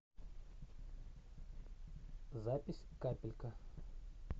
запись капелька